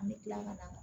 An bɛ kila ka na